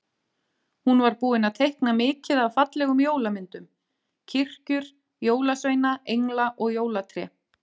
Hún var búin að teikna mikið af fallegum jólamyndum- kirkjur, jólasveina, engla og jólatré.